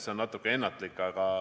See on natuke ennatlik.